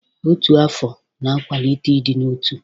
Ọtu afọ na-akwalite ịdị n'otu.